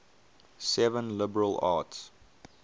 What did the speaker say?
seven liberal arts